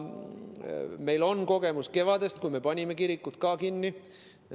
Meil on kogemus kevadest, kui me panime ka kirikud kinni.